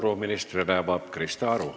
Küsimuste vooru avab Krista Aru.